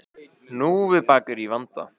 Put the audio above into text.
Hnúfubakur í vanda